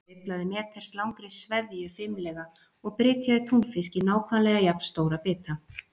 Hann sveiflaði meters langri sveðju fimlega og brytjaði túnfisk í nákvæmlega jafn stóra bita.